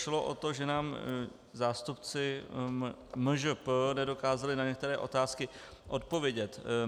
Šlo o to, že nám zástupci MŽP nedokázali na některé otázky odpovědět.